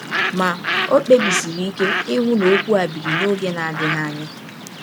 Ma, ọ kpebisiri ike ịhụ na ọkwụ a biri n’ọge na - adịghị anya.